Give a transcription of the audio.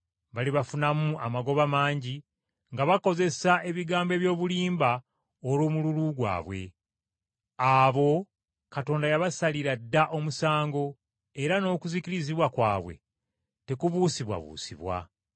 balibafunamu amagoba mangi nga bakozesa ebigambo eby’obulimba olw’omululu gwabwe. Abo Katonda yabasalira dda omusango era n’okuzikirizibwa kwabwe tekubuusibwabuusibwa.